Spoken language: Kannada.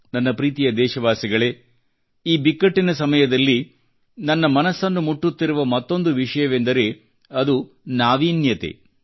ನನ್ನ ಪ್ರೀತಿಯ ದೇಶವಾಸಿಗಳೇ ಈ ಬಿಕ್ಕಟ್ಟಿನ ಸಮಯದಲ್ಲಿ ನನ್ನ ಮನಸ್ಸನ್ನು ಮುಟ್ಟುತ್ತಿರುವ ಮತ್ತೊಂದು ವಿಷಯವೆಂದರೆ ಅದು ನಾವೀನ್ಯತೆ